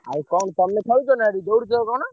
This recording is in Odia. ଆଉ କଣ ତମେ ଖେଳୁଛ ନାଁ ସେଠି ଆଉ ଦୌଡୁଛ କଣ?